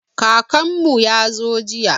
Kakanmu ya zo jiya.